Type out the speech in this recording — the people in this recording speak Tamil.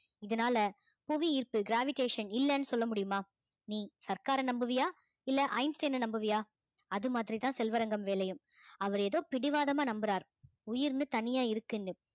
இதனாலே புவி ஈர்ப்பு gravitation இல்லைன்னு சொல்ல முடியுமா நீ சர்க்காரை நம்புவியா இல்லை ஐன்ஸ்டைனை நம்புவியா அது மாதிரிதான் செல்வரங்கம் வேலையும் அவர் ஏதோ பிடிவாதமா நம்புறார் உயிர்ன்னு தனியா இருக்குன்னு